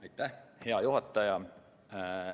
Aitäh, hea juhataja!